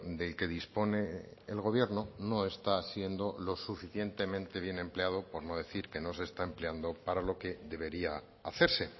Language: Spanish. del que dispone el gobierno no está siendo lo suficientemente bien empleado por no decir que no se está empleando para lo que debería hacerse